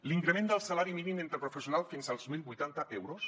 l’increment del salari mínim interprofessional fins als mil vuitanta euros